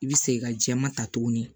I bɛ segin ka jɛman ta tuguni